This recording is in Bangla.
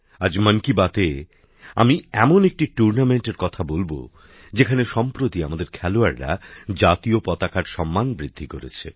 আজ মন কি বাতএ আমি এমন একটি ক্রীড়া প্রতিযোগিতার কথা বলব যেখানে সম্প্রতি আমাদের খেলোয়াড়রা জাতীয় পতাকার সম্মান বৃদ্ধি করেছে